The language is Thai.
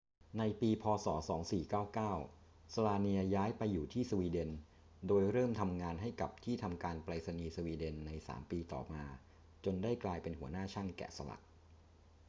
ในปี พ.ศ. 2499 słania ย้ายไปอยู่ที่สวีเดน โดยเริ่มทำงานให้กับที่ทำการไปรษณีย์สวีเดนใน 3 ปีต่อมา จนได้กลายเป็นหัวหน้าช่างแกะสลัก